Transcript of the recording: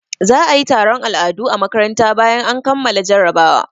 Za a yi taron al'adu a makaranta bayan an kammala jarabawa.